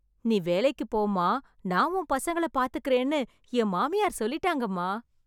நீ வேலைக்கு போம்மா, நான் உன் பசங்கள பாத்துக்கறேன்னு என் மாமியார் சொல்லிட்டாங்கம்மா.